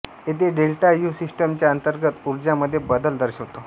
येथे delta U सिस्टमच्या अंतर्गत उर्जा मध्ये बदल दर्शवितो